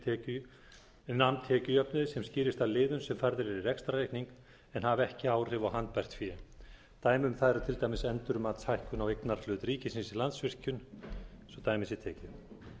en nam tekjujöfnuði sem skýrist af liðum sem færðir eru í rekstrarreikningi en hafa ekki áhrif á handbært fé dæmi um það er til dæmis endurmatshækkun á eignarhlut ríkisins í landsvirkjun svo dæmi sé tekið